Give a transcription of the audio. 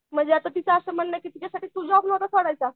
म्हणजे आता तिचं म्हणणं असं होतं की तिच्यासाठी तू जॉब नव्हता सोडायचा.